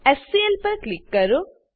HCl પર click કરો